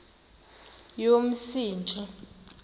yomsintsi